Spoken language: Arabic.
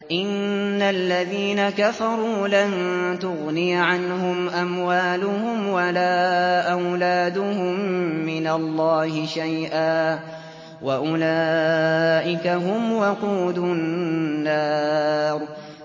إِنَّ الَّذِينَ كَفَرُوا لَن تُغْنِيَ عَنْهُمْ أَمْوَالُهُمْ وَلَا أَوْلَادُهُم مِّنَ اللَّهِ شَيْئًا ۖ وَأُولَٰئِكَ هُمْ وَقُودُ النَّارِ